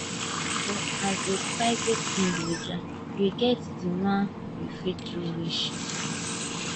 but as a private individual you get di one you fit do reach